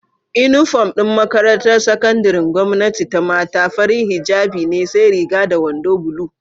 Inufom din makarantar sakandarin gwamnati ta mata, farin hijjabi ne sai Riga da wando bulu